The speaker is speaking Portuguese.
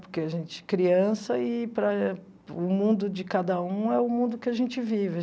Porque a gente é criança e para o mundo de cada um é o mundo que a gente vive.